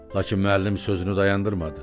Lakin müəllim sözünü dayandırmadı.